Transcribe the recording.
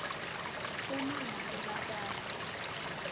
uma ngabe batali